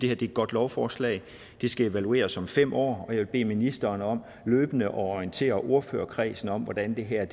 er et godt lovforslag det skal evalueres om fem år og jeg vil bede ministeren om løbende at orientere ordførerkredsen om hvordan det her